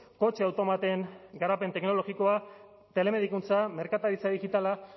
kotxe automaten garapen teknologikoa telemedikuntza merkataritza digitala